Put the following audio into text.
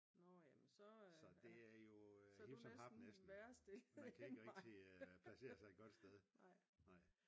Så det er jo hip som hap næsten man kan ikke rigtig placere sig et godt sted